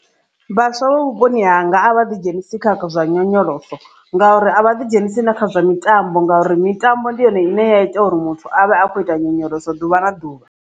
Vhaswa vha vhuponi hanga a vha ḓi dzhenisi kha zwa nyonyoloso ngauri a vha ḓi dzhenisi na kha zwa mitambo ngauri mitambo ndi yone ine ya ita uri muthu avhe akho ita nyonyolosa ḓuvha na ḓuvha.